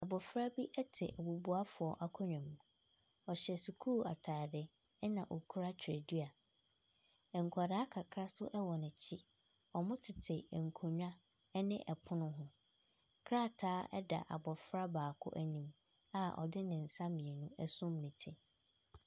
Abɔfra bi te bubuafoɔ akonnwa mu. Ɔhyɛ sukuu atade na ɔkura twerɛdua. Nkwadaa kakra nso wɔ n'akyi. Wɔtete nkonnwa ne ɛpono ho. Krataa da abɔfra baako anim a ɔde ne nsa mmienu asum ne ti.